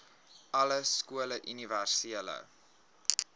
alle skole universele